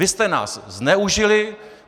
Vy jste nás zneužili.